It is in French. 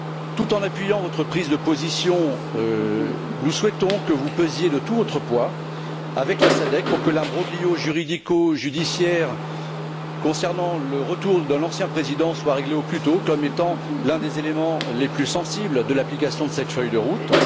Tout en appuyant votre prise de position, nous souhaitons que vous pesiez de tout votre poids, avec la SADC, pour que l'imbroglio juridico judiciaire concernant le retour de l'ancien président soit réglé au plus tôt, ce sujet étant l'un des éléments les plus sensibles de l'application de cette feuille de route.